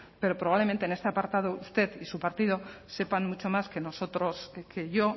pero probablemente en este apartado usted y su partido sepan mucho más que nosotros que yo